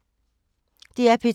DR P2